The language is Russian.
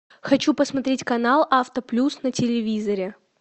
хочу посмотреть канал авто плюс на телевизоре